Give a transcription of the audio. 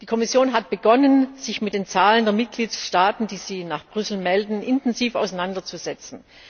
Die Kommission hat begonnen, sich mit den Zahlen der Mitgliedstaaten, die sie nach Brüssel melden, intensiv auseinanderzusetzen.